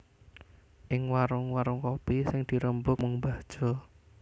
Ing warung warung kopi sing dirembug mung mbah Jo